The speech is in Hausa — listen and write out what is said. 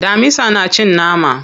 Damisa na cin nama.